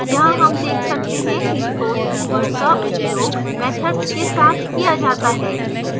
यहाँ हम देख सकते हैं कि throws keyword का उपयोग methods के साथ किया जाता है